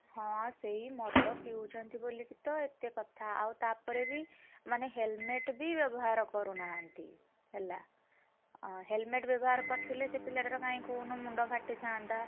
ହଁ ସେଇ ମଦ ପିଉଛନ୍ତି ବୋଲିକିତ ଏତେ କଥା ଆଉ ତାପରେ ବି, ମାନେ helmet ବି ବ୍ୟବହାର କରୁନାହାନ୍ତି! ହେଲା ଅ helmet ବ୍ୟବହାର କରିଥିଲେ ସେ ପିଲାଟା ର କାଇଁ କହୁନୁ ମୁଣ୍ଡ ଫାଟିଥାନ୍ତା!